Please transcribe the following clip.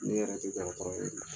Ne yɛrɛ tɛ dɔgɔtɔrɔ ye